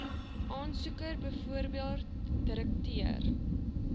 aansoeker bv direkteur